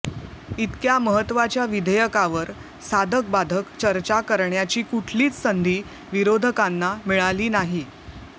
इतक्या महत्त्वाच्या विधेयकावर साधकबाधक चर्चा करण्याची कुठलीच संधी विरोधकांना मिळाली नाही